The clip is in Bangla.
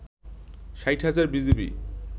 ৬০ হাজার বিজিবি